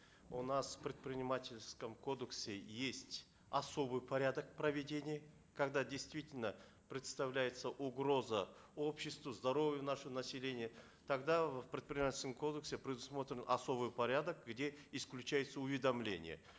у нас в предпринимательском кодексе есть особый порядок проведения когда действительно представляется угроза обществу здоровью нашего населения тогда в предпринимательском кодексе предусмотрен особый порядок где исключается уведомление